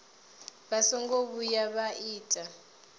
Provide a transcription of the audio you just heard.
vha songo vhuya vha ita